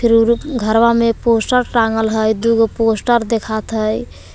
घरवा मे पोस्टर टांगल हय दुगो पोस्टर देखात हय।